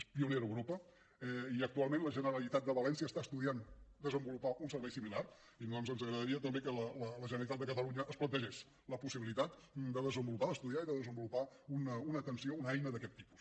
és pionera a europa i actualment la generalitat de valència està estudiant desenvolupar un servei similar i a nosaltres ens agradaria també que la generalitat de catalunya es plantegés la possibilitat de desenvolupar d’estudiar i de desenvolupar una atenció una eina d’aquest tipus